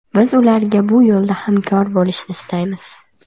Biz ularga bu yo‘lda hamkor bo‘lishni istaymiz.